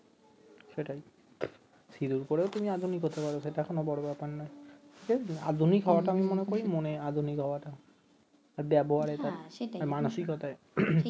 সেটাই সিঁদুর পরেও তুমি আধুনিক হতে পার এটা কোন বড় ব্যাপার না আধুনিক হয়াটা আমি মানেকরি মনে আধুনিক হয়াটা